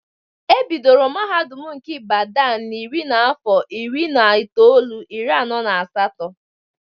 E bidoro mahadum nke Ibadan na iri n'afọ iri na itoolu, iri anọ na asatọ.